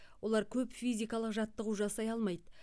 олар көп физикалық жаттығу жасай алмайды